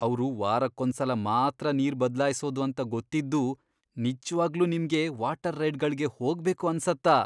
ಅವ್ರು ವಾರಕ್ಕೊಂದ್ಸಲ ಮಾತ್ರ ನೀರ್ ಬದ್ಲಾಯ್ಸೋದು ಅಂತ ಗೊತ್ತಿದ್ದೂ ನಿಜ್ವಾಗ್ಲೂ ನಿಮ್ಗೆ ವಾಟರ್ ರೈಡ್ಗಳ್ಗೆ ಹೋಗ್ಬೇಕು ಅನ್ಸತ್ತಾ?!